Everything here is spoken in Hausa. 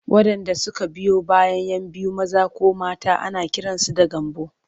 Waɗanda suka biyo bayan 'yan biyu maza ko mata ana kiransu da Gambo.